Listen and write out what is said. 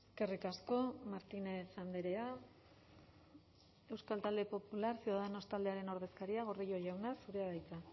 eskerrik asko martínez andrea euskal talde popular ciudadanos taldearen ordezkaria gordillo jauna zurea da hitza